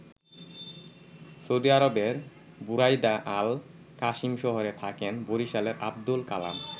Saudi আরবের Buraidah Al Qassim শহরে থাকেন বরিশালের আব্দুল কালাম।